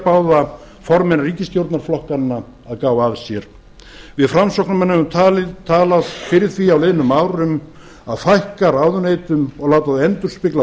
báða formenn ríkisstjórnarflokkanna að gá að sér við framsóknarmenn höfum talað fyrir því á liðnum árum að fækka ráðuneytum og láta þau endurspegla